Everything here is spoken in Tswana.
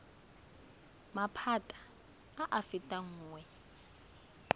maphata a a fetang nngwe